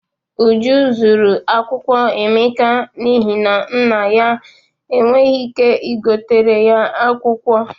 Uju zuru akwụkwọ Emeka n'ihi na nna enweghị ike igoteere ya akwụkwọ.